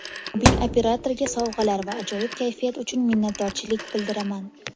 Mobil operatorga sovg‘alar va ajoyib kayfiyat uchun minnatdorchilik bildiraman.